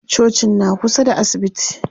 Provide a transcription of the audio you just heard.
Cocin na kusa da asibiti.